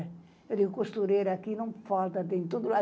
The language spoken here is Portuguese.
Eu digo, costureira, aqui não falta, tem tudo lá.